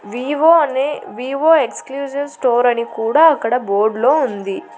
Vivo అనే Vivo exclusive store అని కూడా అక్కడ బోర్డ్ లో ఉంది.